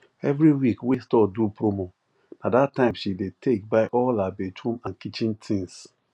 every week wey store do promo na that time she dey take buy all her bathroom and kitchen things